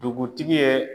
Dugutigi ye